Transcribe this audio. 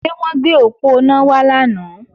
Ṣé wọ́n gbé òponá wá lánàá?